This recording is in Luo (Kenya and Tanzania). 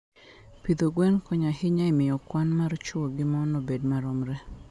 Pidho gwen konyo ahinya e miyo kwan mar chwo gi mon obed maromre.